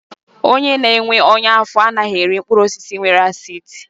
Onye na-enwe ọnya afọ anaghị eri mkpụrụ osisi nwere acidi.